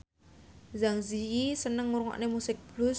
Zang Zi Yi seneng ngrungokne musik blues